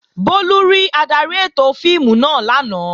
Bólú rí adarí ètò fíìmù náà lánàá